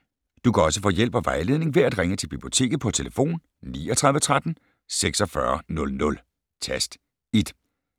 Du kan også få hjælp og vejledning ved at ringe til Biblioteket på tlf. 39 13 46 00, tast 1.